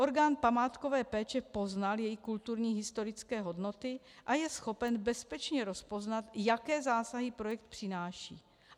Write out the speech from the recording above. Orgán památkové péče poznal její kulturní historické hodnoty a je schopen bezpečně rozpoznat, jaké zásahy projekt přináší.